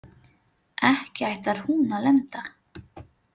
Ekki ætlar hún að lenda?